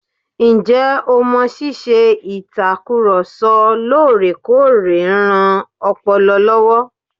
Ǹjẹ o mọ̀ ṣíṣe ìtakùrọ̀ sọ lóòrèkóòrè ń ran ọpọlọ lọ́wọ́?